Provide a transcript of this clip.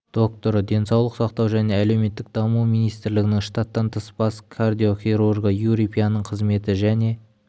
докторы денсаулық сақтау және әлеуметтік даму министрлігінің штаттан тыс бас кардиохирургы юрий пяның қызметі және